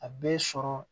A bɛ sɔrɔ